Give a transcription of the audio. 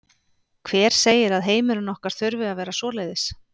Hver segir að heimurinn okkar þurfi að vera svoleiðis?